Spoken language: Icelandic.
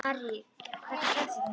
Harri, hvernig kemst ég þangað?